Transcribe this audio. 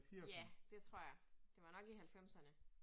Ja, det tror jeg. Det var nok i halvfemserne